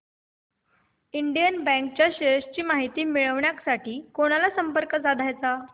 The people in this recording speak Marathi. इंडियन बँक च्या शेअर्स ची माहिती मिळविण्यासाठी कोणाला संपर्क साधायचा